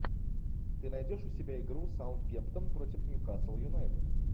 ты найдешь у себя игру саутгемптон против ньюкасл юнайтед